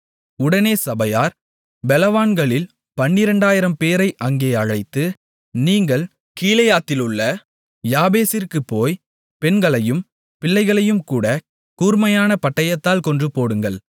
உடனே சபையார் பெலவான்களில் பன்னிரண்டாயிரம்பேரை அங்கே அழைத்து நீங்கள் கீலேயாத்திலுள்ள யாபேசிற்குப் போய் பெண்களையும் பிள்ளைகளையும்கூட கூர்மையான பட்டயத்தால் கொன்றுபோடுங்கள்